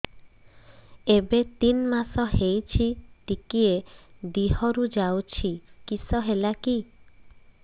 ଏବେ ତିନ୍ ମାସ ହେଇଛି ଟିକିଏ ଦିହରୁ ଯାଉଛି କିଶ ହେଲାକି